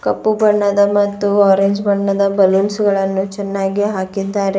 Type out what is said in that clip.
ಕಪ್ಪು ಬಣ್ಣದ ಮತ್ತು ಆರೆಂಜ್ ಬಣ್ಣದ ಬಲುನ್ಸ್ ಗಳನ್ನು ಚೆನ್ನಾಗಿ ಹಾಕಿದ್ದಾರೆ.